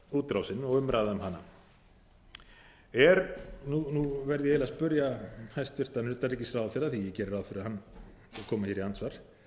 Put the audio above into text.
útrásin og umræða um hana nú verð ég eiginlega að spyrja hæstvirtan utanríkisráðherra því að ég geri ráð fyrir að hann komi hér í andsvar